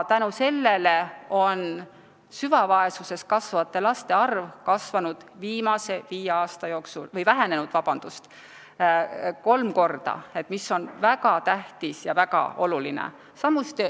Tänu sellele on süvavaesuses kasvavate laste arv vähenenud viimase viie aasta jooksul kolm korda, mis on väga tähtis ja oluline.